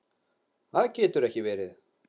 Það getur ekki verið